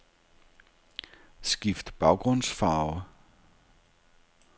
Skift baggrundsfarve.